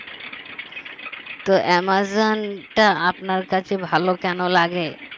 তো অ্যামাজনটা আপনার কাছে ভালো কেন লাগে